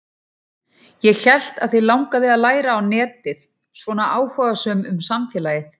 Ég hélt að þig langaði að læra á netið, svona áhugasöm um samfélagið.